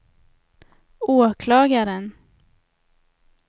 åklagaren